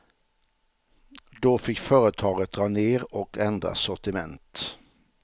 Då fick företaget dra ner och ändra sortiment.